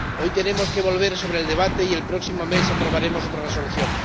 Hoy tenemos que volver sobre el debate, y el próximo mes aprobaremos otra Resolución.